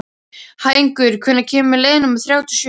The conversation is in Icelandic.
Hængur, hvenær kemur leið númer þrjátíu og sjö?